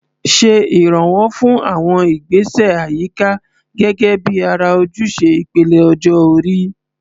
Ṣe ìrànwọ́ fún àwọn ìgbésẹ̀ àyíká gẹ́gẹ́ bí ara ojúṣe ìpele ọjọ́ orí.